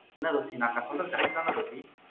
என்ன ரோஸி நான்சொல்றது correct தான ரோஸி